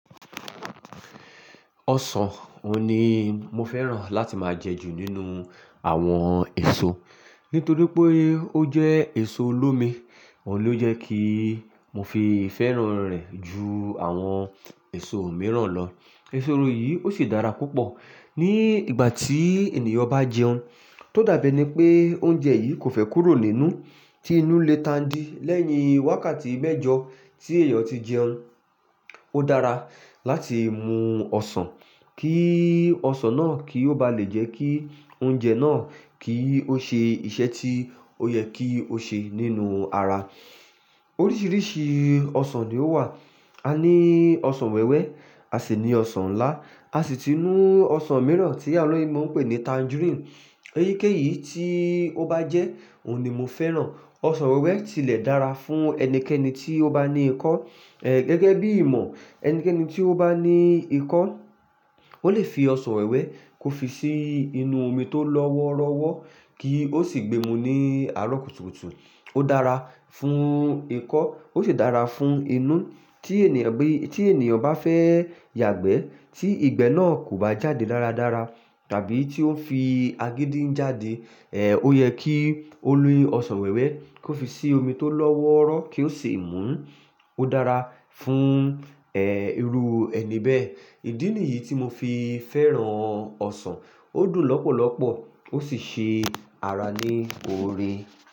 Ọsàn, òun ni mo fẹ́ràn láti máa jẹ jù nínú àwọn èso. Nítorí pé ó jẹ́ èso olómi, òun ló jẹ́ kí mo fi feran rẹ̀ ju àwọn èso mìíràn lọ. Èso yìí ó sì dára púpọ̀ ní ìgbà tí ènìyàn bá jẹun. Tó dàbí ení pé oúnjẹ yìí kò fẹ́ kúrò nínú, tí inú lè tandi lẹ́yìn wákàtí mẹ́jọ tí èèyàn ti jẹun. Ó dára láti mú ọsàn kí ọsàn náà kí ó ba lè jẹ́ kí oúnjẹ náà kí ó ṣe ìṣe tí ó yẹ kí ó ṣe nínú ara. Oríṣìíríṣìí ọsàn ni ó wà. A ní ọsàn wẹ́wẹ́, a sì ní ọsàn ńlá, a sì tun ní ọsàn mìíràn tí àwọn oloyinbo n pè ní tangerine. Eyíkéyìí tí ó bá jẹ́, òun ni mo fẹ́ràn. Ọsàn wẹ́wẹ́ tilẹ̀ dára fún ẹnikẹ́ni tí ó bá ní ikọ́. È, gẹ́gẹ́ bí i ìmọ̀, ẹnikẹ́ni tí ó bá ní ikọ́, ó lè fi ọsàn wẹ́wẹ́ kó fi sí inú omi tó lọ́wọ́rọ́wọ́ kí ó sì gbe mú ní àárọ̀ kùtùkùtù. Ó dára fún ikọ́, ó sì dára fún inú. Tí ènìyàn bí, tí ènìyàn bá fẹ́ yàgbẹ́ tí ìgbẹ́ náà kò bá jáde dáradára tàbí tí ó ń fi agídí ń jáde, è, ó yẹ kí ó ni ọsàn wẹ́wẹ́ kó fi sí omi tó lọ́wọ́rọ́ kí ó sì mú ún. Ó dára fún, ẹ, irú ẹni bẹ́ẹ̀. Ìdí nìyí tí mo fi fẹ́ràn ọsàn. Ó dùn lọ́pọ̀lọ́pọ̀, ó sì ṣe ara ní oore.